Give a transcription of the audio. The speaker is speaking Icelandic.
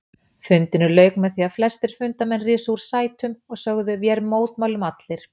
Fundinum lauk með því að flestir fundarmenn risu úr sætum og sögðu: Vér mótmælum allir